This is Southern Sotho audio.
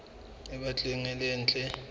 e batlang e le ntle